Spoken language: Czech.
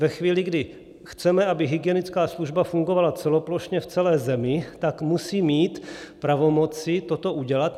Ve chvíli, kdy chceme, aby hygienická služba fungovala celoplošně v celé zemi, tak musí mít pravomoci toto udělat.